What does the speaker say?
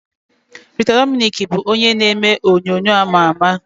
Rita Dominic bụ onye na-eme onyonyo ama ama.